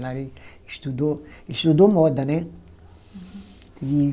Lá ele estudou, estudou moda, né? E